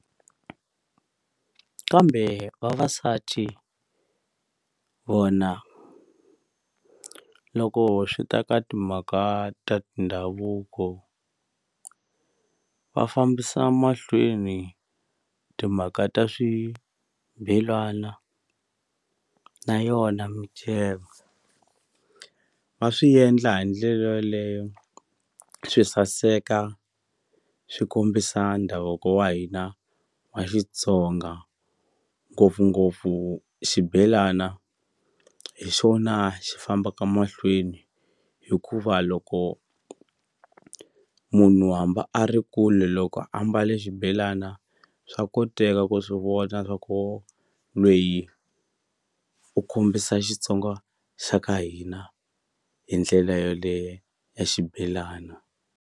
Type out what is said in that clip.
Kambe vavasati vona loko swi ta ka timhaka ta tindhavuko va fambisa mahlweni timhaka ta swibelana na yona miceka va swi endla hi ndlela yoleyo swi saseka swi kombisa ndhavuko wa hina wa Xitsonga ngopfungopfu xibelana hi xona xi fambaka mahlweni hikuva loko munhu hambi a ri kule loko ambale xibelana swa koteka ku swi vona swa ku lweyi u kombisa Xitsonga xa ka hina hi ndlela yoleyo ya xibelana.